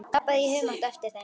Labbaði í humátt á eftir þeim.